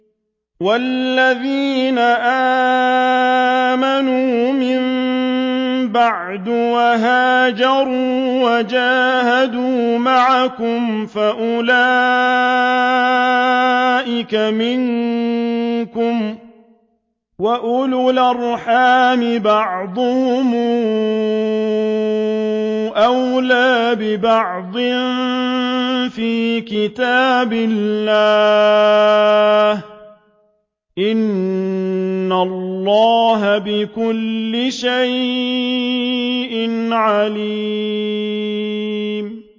وَالَّذِينَ آمَنُوا مِن بَعْدُ وَهَاجَرُوا وَجَاهَدُوا مَعَكُمْ فَأُولَٰئِكَ مِنكُمْ ۚ وَأُولُو الْأَرْحَامِ بَعْضُهُمْ أَوْلَىٰ بِبَعْضٍ فِي كِتَابِ اللَّهِ ۗ إِنَّ اللَّهَ بِكُلِّ شَيْءٍ عَلِيمٌ